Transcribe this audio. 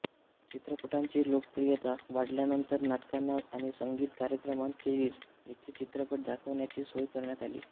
चित्रपटांची लोकप्रियता वाढल्यानंतर नाटकांना आणि संगीत कार्यक्रमांखेरीज येथे चित्रपट दाखवण्याची सोय करण्यात आली